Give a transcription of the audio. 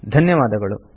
ಧನ್ಯವಾದಗಳು